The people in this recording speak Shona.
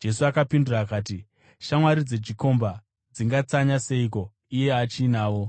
Jesu akapindura akati, “Shamwari dzechikomba dzingatsanya seiko kana iye achinavo?